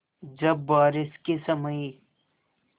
जब बारिश के समय